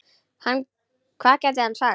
Hvað gat hann sagt?